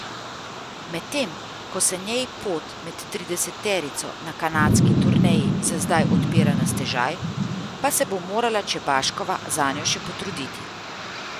Medtem ko se njej pot med trideseterico na kanadski turneji za zdaj odpira na stežaj, pa se bo morala Čebaškova zanjo še potruditi.